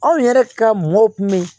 Anw yɛrɛ ka mɔw kun bɛ yen